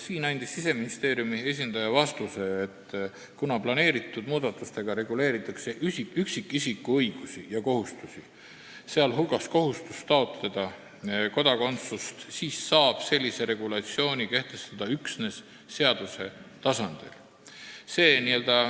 Siin andis Siseministeeriumi esindaja vastuse, et kuna planeeritud muudatustega reguleeritakse üksikisiku õigusi ja kohustusi, sh kohustust taotleda kodakondsust, saab sellise regulatsiooni kehtestada üksnes seaduse tasandil.